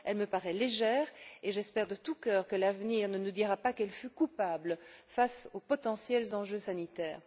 Elle me paraît légère et j'espère de tout cœur que l'avenir ne nous dira pas qu'elle fut coupable face aux potentiels enjeux sanitaires.